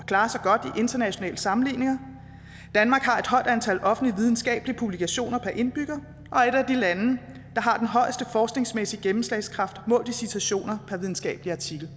klarer sig godt i internationale sammenligninger danmark har et højt antal offentlige videnskabelige publikationer per indbygger og har den højeste forskningsmæssige gennemslagskraft målt i citationer per videnskabelig artikel